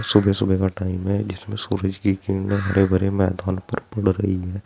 सुबह सुबह का टाइम है जिसमें सूरज की किरने हरे भरे मैदान पर पड़ रही है।